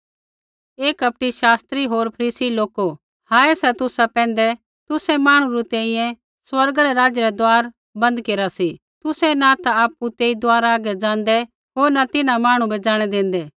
हे कपटी शास्त्री होर फरीसी लोको हाय सा तुसा पैंधै तुसै मांहणु री तैंईंयैं स्वर्गा रै राज्य रा दुआर बन्द केरा सी तुसै न ता आपु तेई दुआरै हागै ज़ाँदै न तिन्हां मांहणु बै ज़ाणै देंदै